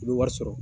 I bɛ wari sɔrɔ